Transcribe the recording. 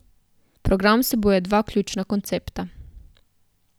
Program vsebuje dva ključna koncepta.